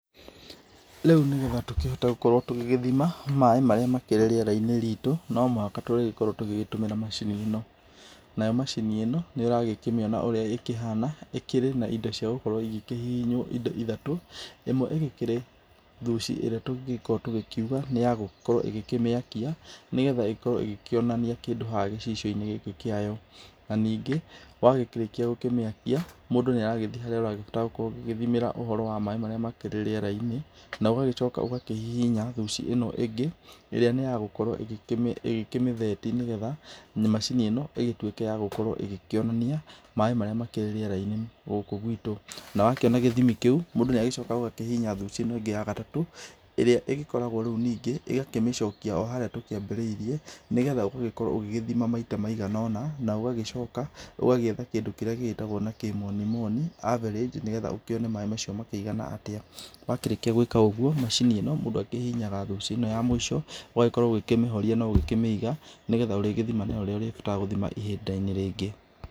Rĩu nĩgetha tũkĩhote gũkorwo tũgĩgĩthima maaĩ marĩa makĩrĩ rĩera-inĩ ritũ, no muhaka tũrĩkorwo tũgĩgĩtũmĩra macini ĩno, nayo macini ĩno nĩ ũragĩkĩmĩona ũra ĩkĩhana, ĩkĩrĩ na indo cia ciagũkorwo ikĩhiinywo indo ithatu, ĩmwe ĩgĩkĩrĩ thuci ĩrĩa tũngĩkorwo tũgĩkiuga nĩ ya gũkorwo ĩgĩkĩmĩakia, nĩgetha igĩkorwo ĩgĩkĩonania kĩndũ harĩa gĩcicio-inĩ kĩayo, na ningĩ wagĩkĩrĩkia gũkĩmĩakia, mũndũ nĩ aragĩthiĩ harĩa ũrabatara gũgĩkorwo ũgĩgĩthimĩra ũhoro wa maaĩ marĩa makĩrĩ rĩera-inĩ, na ũgagĩcoka ũgakĩhihinya thuci ĩno ĩngĩ , ĩrĩa nĩ ya gũkorwo ĩgĩkĩmĩtheti nĩgetha macini ĩno ĩgĩtuĩke ya gũkorwo ĩgĩkĩonania maaĩ marĩa makĩrĩ rĩera-inĩ gũkũ gwitũ, na wakĩona gĩthimi kĩu, mũndũ nĩagĩcokaga kahihinya thuci ĩno ĩngĩ ya gatatũ, ĩrĩa ĩgĩkoragwo rĩu ningĩ ĩgakĩmĩcokia o harĩa tũkĩambĩrĩirie nĩgetha ũgagĩkorwo ũgĩgĩthima maita maigana ũna, na ũgagĩcoka ũgagĩetha kĩndũ kĩrĩa gĩgĩtagwo na kĩmonimoni average nĩgetha ũkĩone maaĩ macio makĩigana atia. Wakĩrĩkia gwika ũguo, macini ĩno mũndũ akĩhihinyaga thuci ĩno ya mũico, ũgagĩkorwo ũgĩkĩmĩhoria na ũgĩkĩmĩiga, nĩgetha ũrĩgĩthima nayo rĩrĩ ũrĩbatara gũthima ihinda-inĩ rĩngĩ.